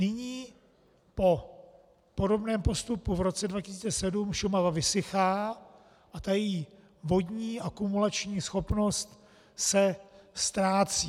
Nyní po podobném postupu v roce 2007 Šumava vysychá a ta její vodní akumulační schopnost se ztrácí.